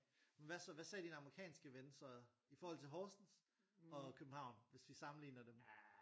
Hvad så hvad sagde din amerikanske ven så i forhold til Horsens og København hvis vi sammenligner dem